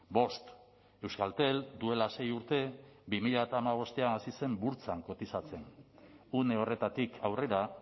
bost euskaltel duela sei urte bi mila hamabostean hasi zen burtsan kotizatzen une horretatik aurrera